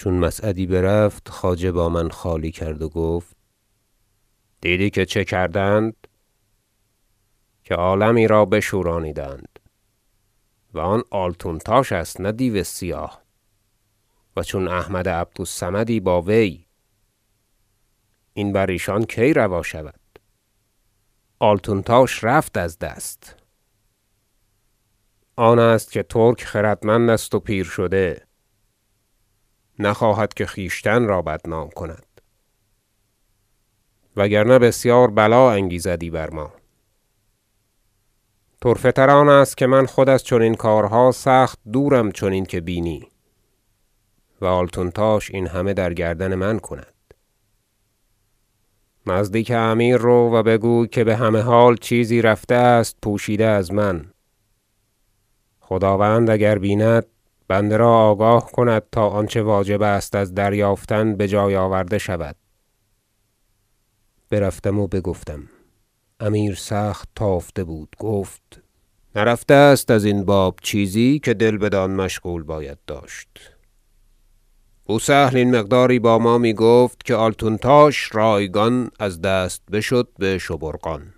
چون مسعدی برفت خواجه با من خالی کرد و گفت دیدی که چه کردند که عالمی را بشورانیدند و آن آلتونتاش است نه دیو سیاه و چون احمد عبد الصمدی با وی این بر ایشان کی روا شود آلتونتاش رفت از دست آن است که ترک خردمند است و پیر شده نخواهد که خویشتن را بدنام کند و اگر نه بسیار بلا انگیزدی بر ما طرفه تر آن است که من خود از چنین کارها سخت دورم چنین که بینی و آلتونتاش این همه در گردن من کند نزدیک امیر رو و بگوی که بهمه حال چیزی رفته است پوشیده از من خداوند اگر بیند بنده را آگاه کند تا آنچه واجب است از دریافتن بجای آورده شود برفتم و بگفتم امیر سخت تافته بود گفت نرفته است ازین باب چیزی که دل بدان مشغول باید داشت بوسهل این مقداری با ما میگفت که آلتونتاش رایگان از دست بشد بشبورقان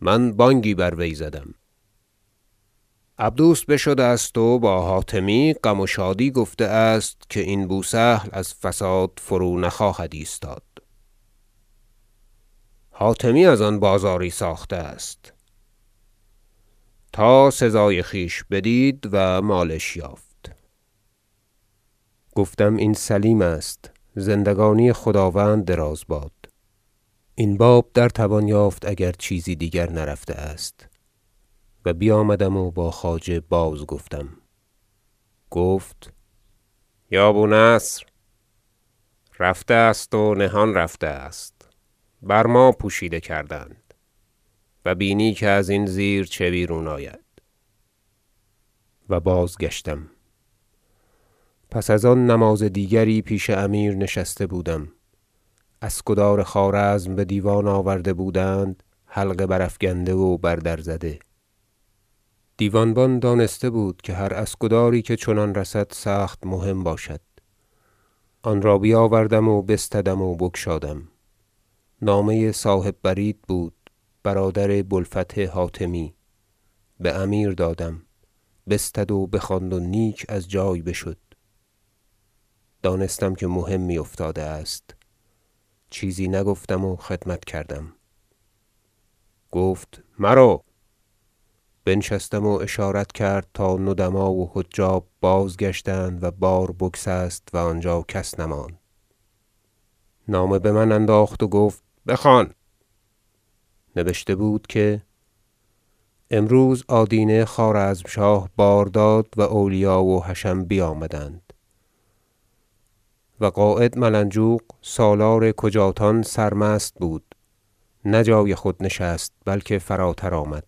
من بانگی بر وی زدم عبدوس بشده است و با حاتمی غم و شادی گفته که این بوسهل از فساد فرو نخواهد ایستاد حاتمی از آن بازاری ساخته است تا سزای خویش بدید و مالش یافت گفتم این سلیم است زندگانی خداوند دراز باد این باب در توان یافت اگر چیزی دیگر نرفته است و بیامدم و با خواجه بازگفتم گفت یا بونصر رفته است و نهان رفته است بر ما پوشیده کردند و بینی که ازین زیر چه بیرون آید و بازگشتم پس از آن نماز دیگری پیش امیر نشسته بودم اسکدار خوارزم بدیوان آورده بودند حلقه برافکنده و بر در زده دیوانبان دانسته بود که هر اسکداری که چنان رسد سخت مهم باشد آنرا بیاورد و بستدم و بگشادم نامه صاحب برید بود برادر بوالفتح حاتمی بامیر دادم بستد و بخواند و نیک از جای بشد دانستم که مهمی افتاده است چیزی نگفتم و خدمت کردم گفت مرو بنشستم و اشارت کرد تا ندما و حجاب بازگشتند و بار بگسست و آنجا کس نماند نامه بمن انداخت و گفت بخوان نبشته بود که امروز آدینه خوارزمشاه بار داد و اولیا و حشم بیامدند و قاید ملنجوق سالار کجاتان سرمست بود نه به جای خود نشست بلکه فراتر آمد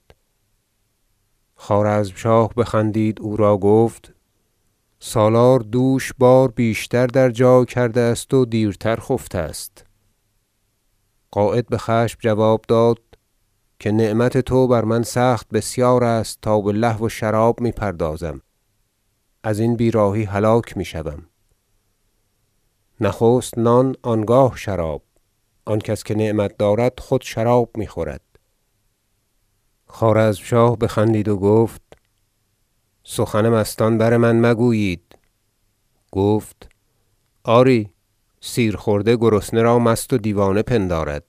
خوارزمشاه بخندید او را گفت سالار دوش بار بیشتر در جای کرده است و دیرتر خفته است قاید بخشم جواب داد که نعمت تو بر من سخت بسیار است تا بلهو و شراب میپردازم ازین بیراهی هلاک میشوم نخست نان آنگاه شراب آن کس که نعمت دارد خود شراب میخورد خوارزمشاه بخندید و گفت سخن مستان بر من مگویید گفت آری سیر خورده گرسنه را مست و دیوانه پندارد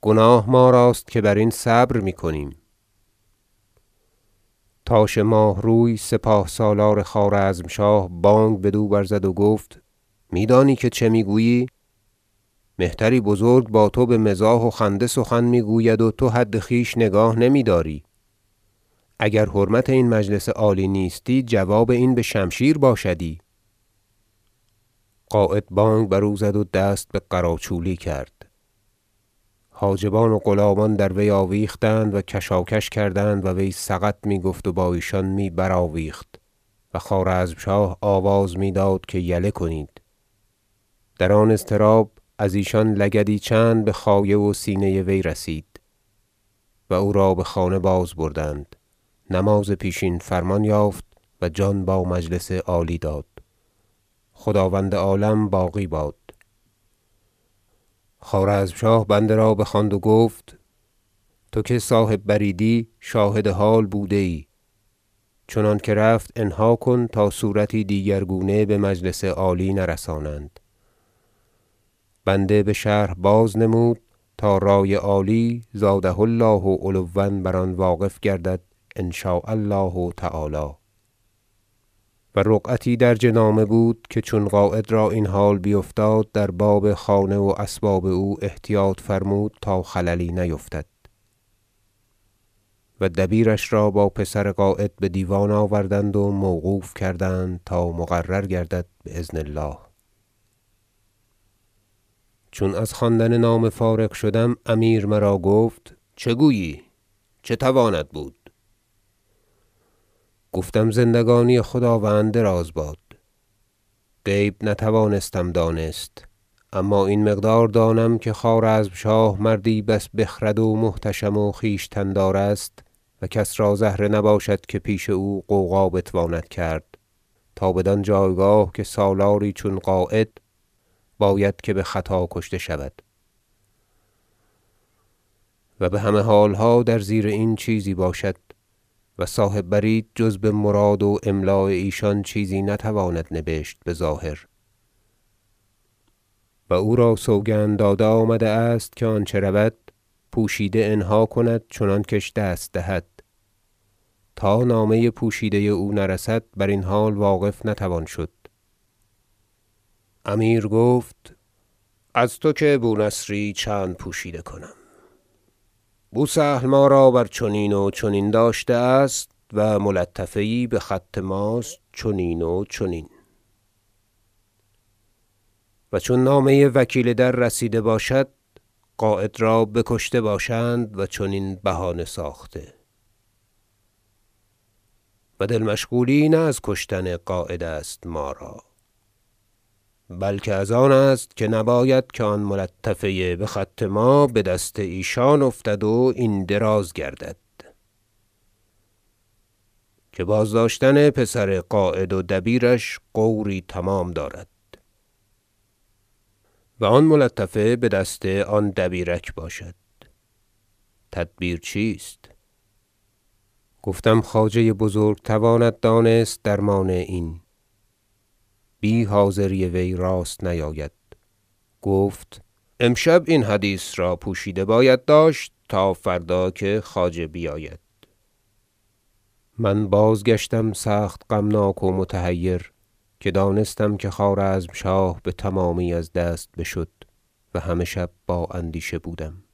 گناه ما راست که برین صبر میکنیم تاش ماهروی سپاه سالار خوارزمشاه بانگ بدو برزد و گفت میدانی که چه میگویی مهتری بزرگ با تو بمزاح و خنده سخن میگوید و تو حد خویش نگاه نمیداری اگر حرمت این مجلس عالی نیستی جواب این بشمشیر باشدی قاید بانگ بر او زد و دست به قراچولی کرد حاجبان و غلامان در وی آویختند و کشاکش کردند و وی سقط میگفت و با ایشان می برآویخت و خوارزم- شاه آواز میداد که یله کنید در آن اضطراب از ایشان لگدی چند بخایه و سینه وی رسید و او را بخانه بازبردند نماز پیشین فرمان یافت و جان با مجلس عالی داد خداوند عالم باقی باد خوارزمشاه بنده را بخواند و گفت تو که صاحب بریدی شاهد حال بوده ای چنانکه رفت انها کن تا صورتی دیگر گونه بمجلس عالی نرسانند بنده بشرح بازنمود تا رأی عالی زاده الله علوا بر آن واقف گردد ان- شاء الله تعالی و رقعتی درج نامه بود که چون قاید را این حال بیفتاد در باب خانه و اسباب او احتیاط فرمود تا خللی نیفتد و دبیرش را با پسر قاید بدیوان آوردند و موقوف کردند تا مقرر گردد باذن الله چون از خواندن نامه فارغ شدم امیر مرا گفت چه گویی چه تواند بود گفتم زندگانی خداوند دراز باد غیب نتوانستم دانست اما این مقدار دانم که خوارزمشاه مردی بس بخرد و محتشم و خویشتن دار است و کس را زهره نباشد که پیش او غوغا بتواند کرد تا بدان جایگاه که سالاری چون قاید باید که بخطا کشته شود و بهمه حالها در زیر این چیزی باشد و صاحب برید جز بمراد و املاء ایشان چیزی نتواند نبشت بظاهر و او را سوگند داده آمده است که آنچه رود پوشیده انها کند چنان کش دست دهد تا نامه پوشیده او نرسد برین حال واقف نتوان شد امیر گفت از تو که بونصری چند پوشیده کنم بوسهل ما را بر چنین و چنین داشته است و ملطفه یی بخط ماست چنین و چنین و چون نامه وکیل در رسیده باشد قاید را بکشته باشند و چنین بهانه ساخته و دل مشغولی نه از کشتن قاید است ما را بلکه از آن است که نباید که آن ملطفه بخط ما بدست ایشان افتد و این دراز گردد که بازداشتن پسر قاید و دبیرش غوری تمام دارد و آن ملطفه بدست آن دبیرک باشد تدبیر این چیست گفتم خواجه بزرگ تواند دانست درمان این بی حاضری وی راست نیاید گفت امشب این حدیث را پوشیده باید داشت تا فردا که خواجه بیاید من بازگشتم سخت غمناک و متحیر که دانستم که خوارزمشاه بتمامی از دست بشد و همه شب با اندیشه بودم